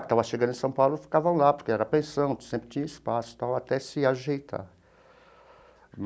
Estavam chegando em São Paulo, e ficavam lá, porque era pensão, sempre tinha espaço e tal, até se ajeitar.